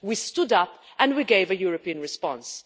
We stood up and we gave a European response.